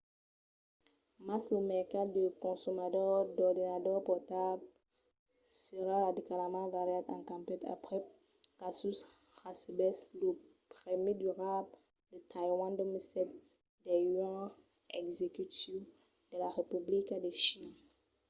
mas lo mercat de consomadors d'ordenadors portables serà radicalament variat e cambiat aprèp qu'asus recebèsse lo prèmi durable de taiwan 2007 del yuan executiu de la republica de china